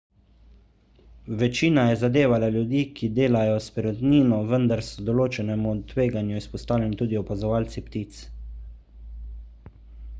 večina je zadevala ljudi ki delajo s perutnino vendar so določenemu tveganju izpostavljeni tudi opazovalci ptic